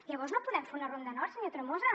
llavors no podem fer una ronda nord senyor tremosa